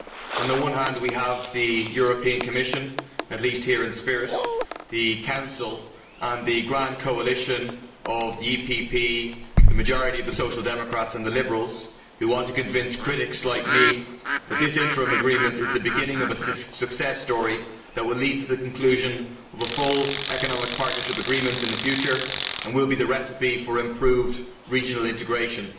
On the one hand we have the European Commission here at least in spirit, the Council and the grand coalition of the EPP, the majority of the Social Democrats and the Liberals who want to convince critics like me that this interim agreement is the beginning of a success story that will lead to the conclusion of a full economic partnership agreement in the future and will be the recipe for improved regional integration.